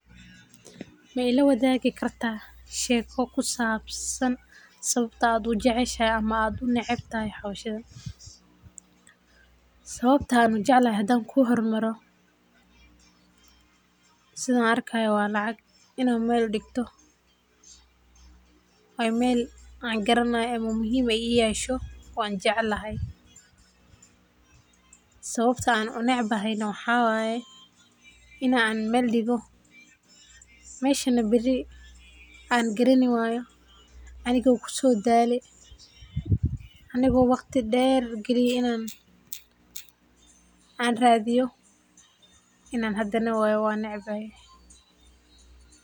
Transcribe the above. Ma ila wathagi kartah, sheeko kusabsan sawabta u jaceeshay amah u naceebtahay hooshan, sawabta u jeclahay handan ku hormaroh setha argakahayo wa lacag Ina meeldigtoh amelbaa garanayo amah muhim I yashoo wanjeclahay, sawabta u neceebahay waxaway, inan meldigoh meshan beri angarani wayo amigo kusodalay aniko waqdi deer kaliye, inan AA rathiyoh Ina handanah wayo wanecbahay.